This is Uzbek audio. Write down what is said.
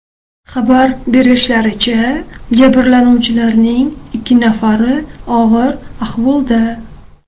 Xabar berishlaricha, jabrlanuvchilarning ikki nafari og‘ir ahvolda.